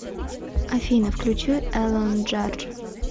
афина включи элонджардж